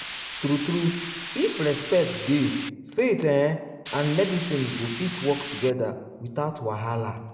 true true if respect dey faith ehm and medicine go fit work together without wahala.